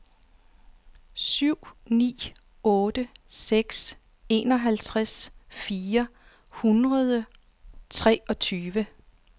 syv ni otte seks enoghalvtreds fire hundrede og treogtyve